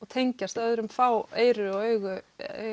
tengjast öðrum fá eyru og augu